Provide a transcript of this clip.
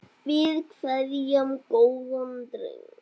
Við kveðjum góðan dreng.